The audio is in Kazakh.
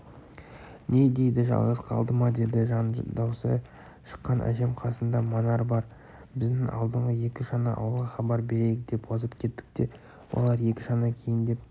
не дейді жалғыз қалды ма деді жан даусы шыққан әжем қасында манар бар біз алдыңғы екі шана ауылға хабар берейік деп озып кеттік те олар екі шана кейіндеп